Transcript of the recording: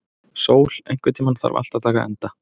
Sól, einhvern tímann þarf allt að taka enda.